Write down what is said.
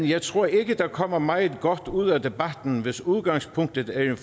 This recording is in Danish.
jeg tror ikke der kommer meget godt ud af debatten hvis udgangspunktet er